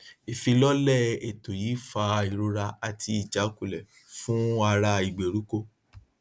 ìfilọlẹ ètò yìí fa ìrora àti ìjákulẹ fún ará ìgbèríko